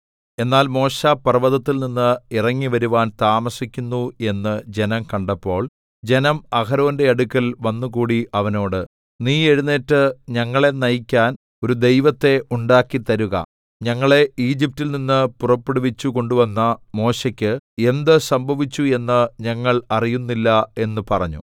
എന്നാൽ മോശെ പർവ്വതത്തിൽനിന്ന് ഇറങ്ങിവരുവാൻ താമസിക്കുന്നു എന്ന് ജനം കണ്ടപ്പോൾ ജനം അഹരോന്റെ അടുക്കൽ വന്നുകൂടി അവനോട് നീ എഴുന്നേറ്റ് ഞങ്ങളെ നയിക്കാൻ ഒരു ദൈവത്തെ ഉണ്ടാക്കി തരുക ഞങ്ങളെ ഈജിപ്റ്റിൽ നിന്ന് പുറപ്പെടുവിച്ചു കൊണ്ടുവന്ന മോശെയ്ക്ക് എന്ത് സംഭവിച്ചു എന്ന് ഞങ്ങൾ അറിയുന്നില്ല എന്ന് പറഞ്ഞു